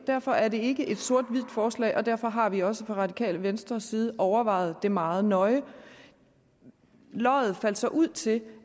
derfor er det ikke et sort hvidt forslag og derfor har vi også fra radikale venstres side overvejet det meget nøje loddet faldt så ud til